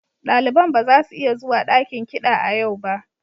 Daliban ba za su iya zuwa dakin kiɗa a yau ba.